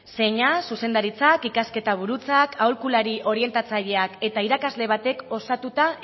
zeina zuzendaritza ikasketa burutzak aholkulari orientatzaileak eta irakasle batek osatuta